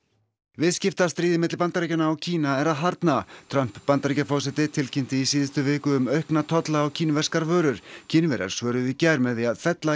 viðskiptastríðið milli Bandaríkjanna og Kína er að harðna Trump Bandaríkjaforseti tilkynnti í síðustu viku um aukna tolla á kínverskar vörur Kínverjar svöruðu í gær með því að fella